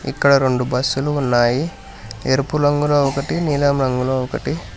ఇక్కడ రెండు బస్సు లు ఉన్నాయి ఎరుపు రంగులో ఒకటి నీలం రంగులో ఒకటి.